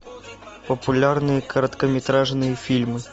популярные короткометражные фильмы